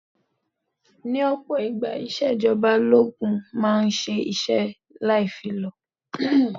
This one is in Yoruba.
Ní ọ̀pọ̀ ìgbà, ìṣèjọba ológun máa ń ṣe iṣẹ́ láì fi lọ̀.